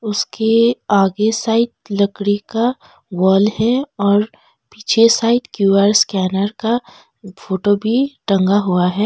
उसके आगे साइड लकड़ी का वाल है और पीछे साइड क्यू_आर स्कैनर का फोटो भी टंगा हुआ है।